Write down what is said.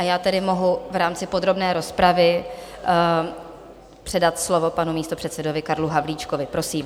A já tedy mohu v rámci podrobné rozpravy předat slovo panu místopředsedovi Karlu Havlíčkovi, prosím.